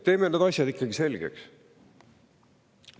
Teeme need asjad ikkagi selgeks.